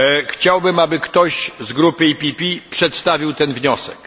Chciałbym, aby ktoś z grupy PPE przedstawił ten wniosek.